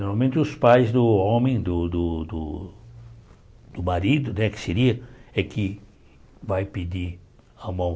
Normalmente os pais do homem, do do do marido né, que seria, é que vai pedir a mão.